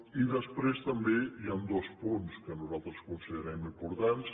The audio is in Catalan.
i després també hi han dos punts que nosaltres considerem importants